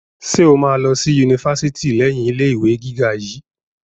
Ṣe o ma lọ sí yunifásítì leyin ilé ìwé gíga yìí?